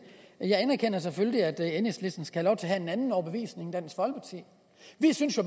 jeg anerkender selvfølgelig at enhedslisten skal have have en anden overbevisning end dansk folkeparti vi synes